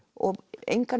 engar